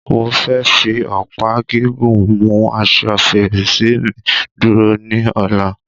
Mo fẹ́ fi ọ̀pá gígùn mu asọ fèrèsé mi dúró ní Ọ̀la